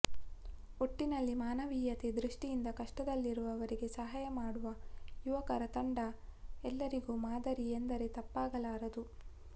ಒಟ್ಟಿನಲ್ಲಿ ಮಾನವೀಯತೆ ದೃಷ್ಟಿಯಿಂದ ಕಷ್ಟದಲ್ಲಿರುವವರಿಗೆ ಸಹಾಯ ಮಾಡುವ ಯುವಕರ ತಂಡ ಎಲ್ಲರಿಗೂ ಮಾದರಿ ಎಂದರೆ ತಪ್ಪಾಗಲಾರದು